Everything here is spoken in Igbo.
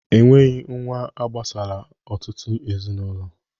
E nweghi nwa agbasala ọtụtụ ezinaụlọ.